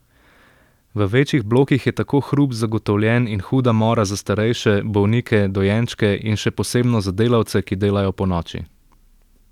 V večjih blokih je tako hrup zagotovljen in huda mora za starejše, bolnike, dojenčke in še posebno za delavce, ki delajo ponoči.